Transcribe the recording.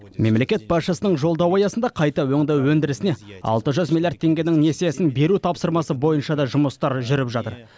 мемлекет басшысының жолдауы аясында қайта өңдеу өндірісіне алты жүз миллиард теңгенің несиесін беру тапсырмасы бойынша да жұмыстар жүріп жатыр